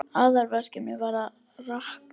Aðalverkefnið var að rakka.